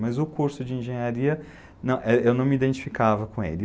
Mas o curso de engenharia, eu não me identificava com ele.